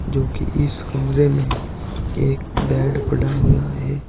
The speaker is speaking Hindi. जो कि इस कमरे में एक बेड पड़ा हुया है।